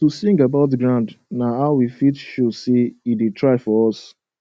to sing about ground na how we fit show say e da try for us